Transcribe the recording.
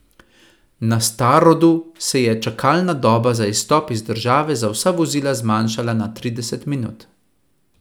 Na Starodu se je čakalna doba za izstop iz države za vsa vozila zmanjšala na trideset minut.